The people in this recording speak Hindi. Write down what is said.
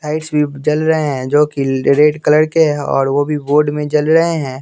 भी जल रहे हैं जो कि रेड कलर के हैं और वो भी बोर्ड में जल रहे हैं।